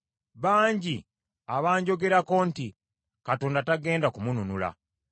Bangi abanjogerako nti, “Katonda tagenda kumununula.”